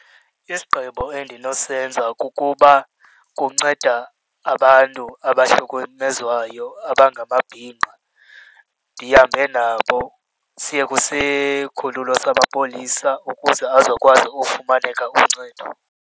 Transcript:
Isigqibo endinosenza kukuba kunceda abantu abahlukumezwayo abangamabhinqa ndihambe nabo, siye kusikhululo samapolisa ukuze azokwazi ufumaneka uncedo.